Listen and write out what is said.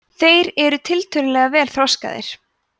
þeir eru tiltölulega vel þroskaðir